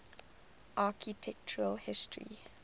architectural history